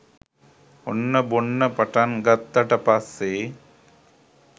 ඔන්න බොන්න පටන් ගත්තට පස්සෙ